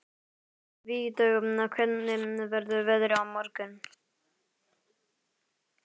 Vígdögg, hvernig verður veðrið á morgun?